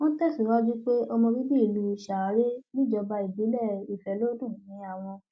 wọn tẹsíwájú pé ọmọ bíbí ìlú share níjọba ìbílẹ ìfọlọdún ni àwọn